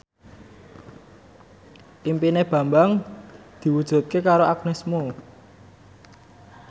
impine Bambang diwujudke karo Agnes Mo